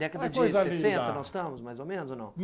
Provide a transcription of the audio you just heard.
Uma coisa linda! Década de sessenta nós estamos, mais ou menos, ou não?